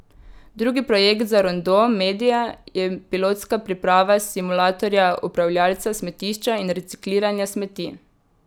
Drugi projekt za Rondo media je pilotska priprava simulatorja upravljalca smetišča in recikliranja smeti.